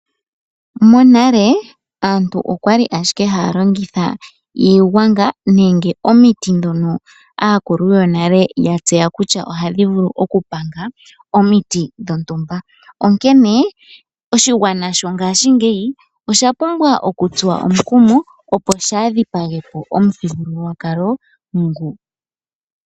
Monale aantu oya li ashike haya longitha iigwanga nenge omiti ndhono aakulu yonale ya tseya kutya ohadhi vulu okupanga omikithi dhontumba. Oshigwana shongashingeyi osha pumbwa okutsuwa omukumo opo shaa dhipage po omuthigululwakalo nguka.